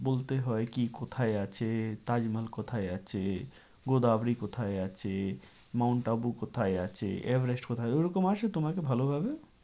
বলতে হয় কি কোথায় আছে তাজমহল কোথায় আছে? গোদাবরী কোথায় আছে? মাউন্ট আবু কোথায় আছে? এভারেস্ট কোথায় ওরকম আসে তোমাকে ভালোভাবে?